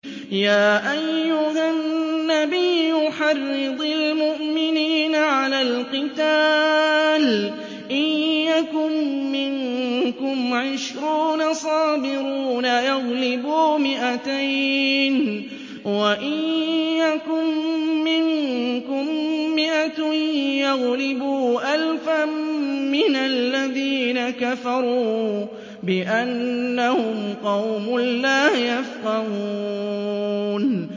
يَا أَيُّهَا النَّبِيُّ حَرِّضِ الْمُؤْمِنِينَ عَلَى الْقِتَالِ ۚ إِن يَكُن مِّنكُمْ عِشْرُونَ صَابِرُونَ يَغْلِبُوا مِائَتَيْنِ ۚ وَإِن يَكُن مِّنكُم مِّائَةٌ يَغْلِبُوا أَلْفًا مِّنَ الَّذِينَ كَفَرُوا بِأَنَّهُمْ قَوْمٌ لَّا يَفْقَهُونَ